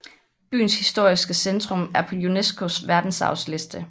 Byens historiske centrum er på UNESCOs verdensarvsliste